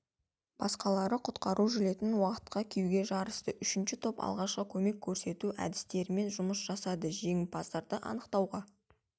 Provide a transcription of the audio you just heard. басқалары құтқару жилетін уақытқа киюге жарысты үшінші топ алғашқы көмек көрсету әдістерімен жұмыс жасады жеңімпаздарды анықтауға